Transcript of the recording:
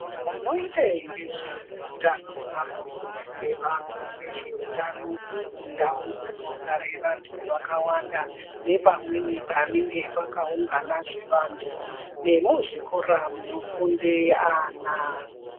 Vanoite ngezveutano vanofundise vantu ngezveutano mundau dzinogare vantu vakawanda nepamweni panenge pakaunganazve vantu nemuzvikora munofunde ana.